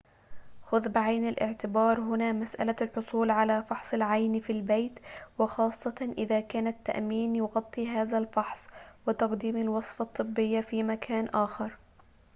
خذ بعين الاعتبار هنا مسألة الحصول على فحص العين في البيت وخاصةً إذا كان التأمين يغطي هذا الفحص وتقديم الوصفة الطبية في مكان آخر